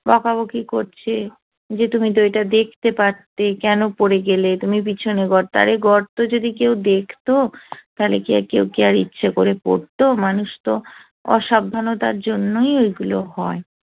বকাবকি করছে যে তুমি তো এটা দেখতে পারতে কেন পড়ে গেলে তুমি পিছনে গর্ত আরে গর্ত যদি কেউ দেখতো তাহলে কি আর কেউ কি আর ইচ্ছে করে পড়তো মানুষ তো অসাবধানতার জন্যই ওইগুলো হয়